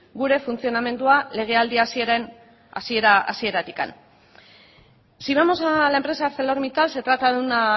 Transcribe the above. gure funtzionamendua legealdi hasieratik si vamos a la empresa arcelormittal se trata de una